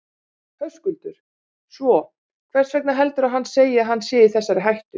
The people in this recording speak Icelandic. Höskuldur: Svo, hvers vegna heldurðu að hann segi að hann sé í þessari hættu?